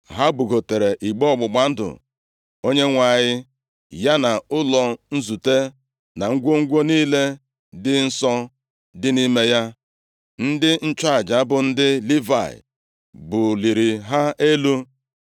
Ha bugotara igbe ọgbụgba ndụ Onyenwe anyị, ya na ụlọ nzute, na ngwongwo niile dị nsọ dị nʼime ya. Ndị nchụaja bụ ndị Livayị buliri ha elu.